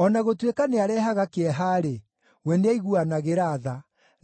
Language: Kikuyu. O na gũtuĩka nĩarehaga kĩeha-rĩ, we nĩaiguanagĩra tha,